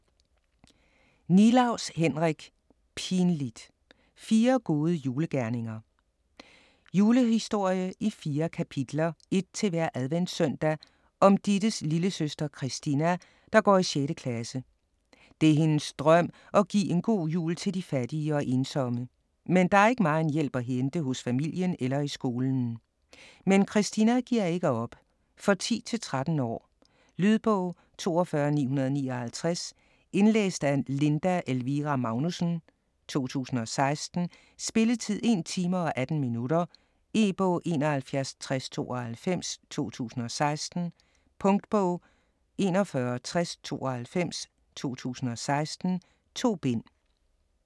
Nilaus, Henrik: Pinligt! - fire gode julegerninger Julehistorie i 4 kapitler (ét til hver adventssøndag) om Dittes lillesøster Christina, der går i 6. klasse. Det er hendes drøm at give en god jul til de fattige og ensomme. Men der er ikke megen hjælp at hente hos familien eller i skolen. Men Christina giver ikke op. For 10-13 år. Lydbog 42959 Indlæst af Linda Elvira Magnussen, 0016. Spilletid: 1 time, 18 minutter. E-bog 716092 2016. Punktbog 416092 2016. 2 bind.